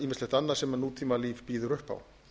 ýmislegt annað sem nútímalíf býður upp á